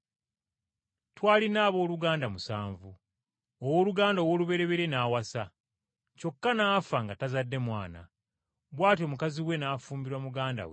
Twalina abooluganda musanvu. Owooluganda ow’olubereberye n’awasa, kyokka n’afa nga tazadde mwana, bw’atyo mukazi we n’afumbirwa muganda we.